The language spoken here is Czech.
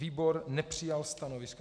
Výbor nepřijal stanovisko.